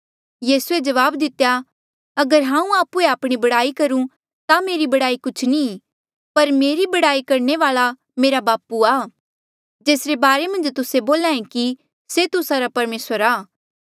यीसूए जवाब दितेया अगर हांऊँ आप्हुए आपणी बड़ाई करूं ता मेरी बड़ाई कुछ नी ई पर मेरी बड़ाई करणे वाल्आ मेरा बापू आ जेसरे बारे मन्झ तुस्से बोल्हा ऐें कि से तुस्सा रा परमेसर आ